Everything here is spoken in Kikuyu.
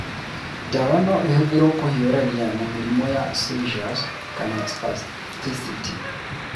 Ndawa no ĩhũthĩrũo kũhiũrania na mĩrimũ ya seizures kana spasticity.